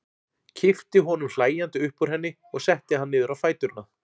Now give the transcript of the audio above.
Kippti honum hlæjandi upp úr henni og setti hann niður á fæturna.